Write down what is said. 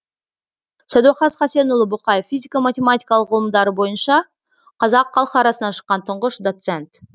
сәдуақас хасенұлы боқаев физика матемематикалық ғылымдары бойынша қазақ халқы арасынан шыққан тұңғыш доцент